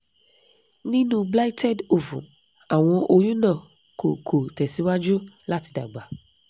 ninu blighted ovum awọn oyun na ko ko tẹsiwaju lati dagba